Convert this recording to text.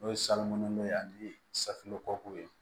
N'o ye salon don ani safunɛ kɔkuw ye